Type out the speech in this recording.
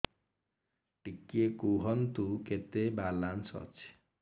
ଟିକେ କୁହନ୍ତୁ କେତେ ବାଲାନ୍ସ ଅଛି